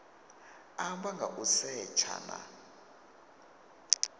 amba nga u setsha na